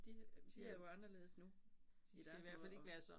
De de er jo anderledes nu i deres måde at